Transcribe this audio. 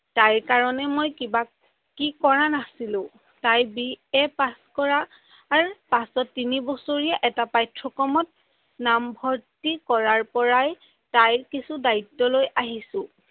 তাই কাৰনে মই কিবা কি কৰা নাছিলো, তাই বি এ পাছ কৰাৰ পাছত তিনি বছৰীয়া এটা পাঠ্যক্ৰমত নামভৰ্তী কৰাৰ পাই তাইৰ কিছু দায়িত্ব লৈ আহিছো।